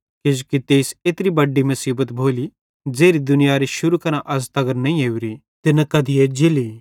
किजोकि तेइस एत्री बड्डी मुसीबत भोली ज़ेरि दुनियारे शुरू करां अज़ तगर नईं ओरी ते न कधी एज्जेली